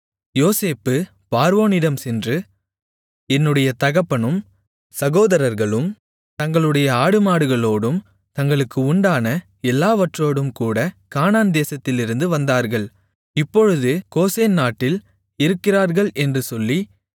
யோசேப்பு பார்வோனிடம் சென்று என்னுடைய தகப்பனும் சகோதரர்களும் தங்களுடைய ஆடுமாடுகளோடும் தங்களுக்கு உண்டான எல்லாவற்றோடும்கூடக் கானான்தேசத்திலிருந்து வந்தார்கள் இப்பொழுது கோசேன் நாட்டில் இருக்கிறார்கள் என்று சொல்லி